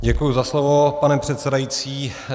Děkuji za slovo, pane předsedající.